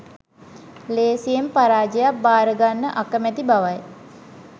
ලේසියෙන් පරාජයක් බාර ගන්න අකමැති බවයි.